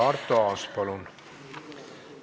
Arto Aas, palun!